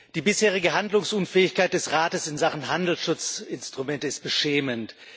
Die bisherige Handlungsunfähigkeit des Rates in Sachen Handelsschutzinstrumente ist beschämend.